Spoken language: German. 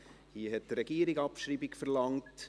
Hier hat die Regierung Abschreibung verlangt.